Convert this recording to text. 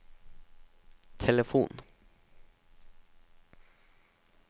telefon